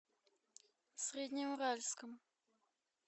среднеуральском